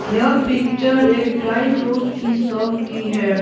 यह पिक्चर एक dry fruit की शॉप की है।